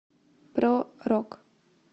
про рок